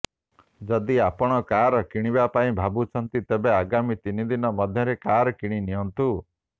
ଯଦି ଆପଣ କାର କିଣିବା ପାଇଁ ଭାବୁଛନ୍ତି ତେବେ ଆଗାମୀ ତିନି ଦିନ ମଧ୍ୟରେ କାର କିଣି ନିଅନ୍ତୁ